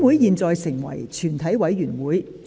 現在成為全體委員會。